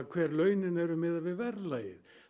hver launin eru miðað við verðlagið